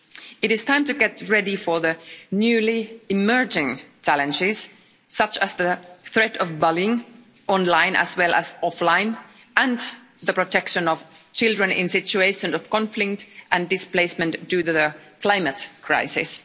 It is time to get ready for the newly emerging challenges, such as the threat of bullying, online as well as offline, and the protection of children in situations of conflict and displacement due to the climate crisis.